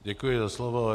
Děkuji za slovo.